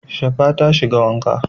Shafa ta shiga wanka.